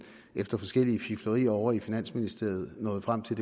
efter forskellige fiflerier ovre i finansministeriet er nået frem til